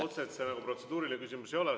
Otseselt see protseduuriline küsimus ei ole.